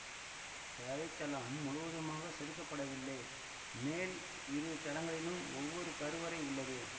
தரைத்தளம் முழுவதுமாக செதுக்கப்படவில்லை மேல் இரு தளங்களிலும் ஒவ்வொரு கருவறை உள்ளது